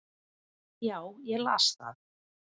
Já, ég las það